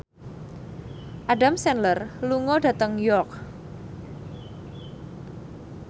Adam Sandler lunga dhateng York